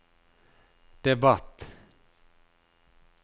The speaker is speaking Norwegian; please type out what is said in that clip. debatt